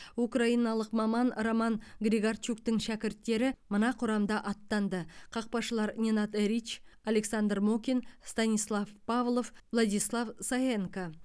украиналық маман роман григорчуктың шәкірттері мына құрамда аттанды қақпашылар ненад эрич александр мокин станислав павлов владислав саенко